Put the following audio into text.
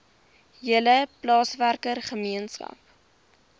hele plaaswerker gemeenskap